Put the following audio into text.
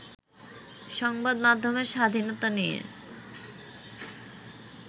সংবাদ মাধ্যমের স্বাধীনতা নিয়ে